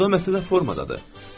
Burda məsələ formadadır.